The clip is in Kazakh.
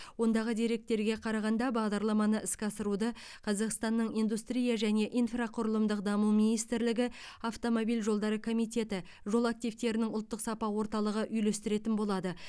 ондағы деректерге қарағанда бағдарламаны іске асыруды қазақстанның индустрия және инфрақұрылымдық даму министрлігі автомобиль жолдары комитеті жол активтерінің ұлттық сапа орталығы үйлестіретін болады